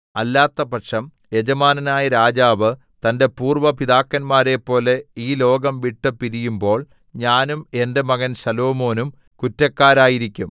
അല്ലാത്തപക്ഷം യജമാനനായ രാജാവ് തന്റെ പൂര്‍വ്വ പിതാക്കന്മാരെപ്പോലെ ഈ ലോകം വിട്ടുപിരിയുംപോള്‍ ഞാനും എന്റെ മകൻ ശലോമോനും കുറ്റക്കാരായിരിക്കും